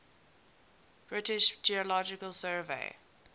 british geological survey